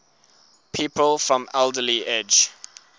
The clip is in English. people from alderley edge